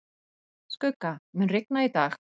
Skugga, mun rigna í dag?